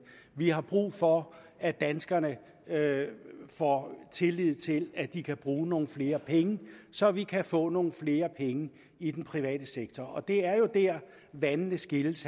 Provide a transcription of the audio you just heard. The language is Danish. vi har brug for at danskerne får tillid til at de kan bruge nogle flere penge så vi kan få nogle flere penge i den private sektor og det er jo dér vandene skilles